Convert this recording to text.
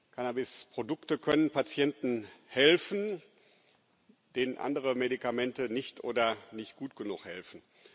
Cannabisprodukte können Patienten helfen, denen andere Medikamente nicht oder nicht gut genug helfen.